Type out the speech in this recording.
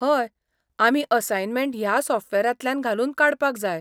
हय, आमी असायनमेंट ह्या सॉफ्टवेरांतल्यान घालून काडपाक जाय.